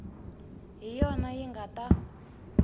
hi yona yi nga ta